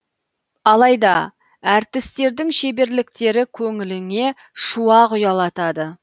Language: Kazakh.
алайда әртістердің шеберліктері көңіліңе шуақ ұялатады